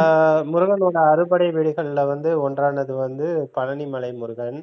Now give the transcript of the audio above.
அஹ் முருகனோட அறுபடை வீடுகள்ல வந்து ஒன்றானது வந்து பழனி மலை முருகன்